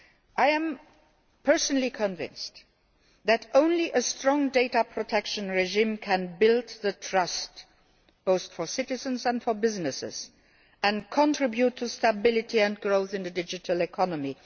I am personally convinced that only a strong data protection regime can build trust both for citizens and for businesses, and contribute to stability and growth in the digital economy.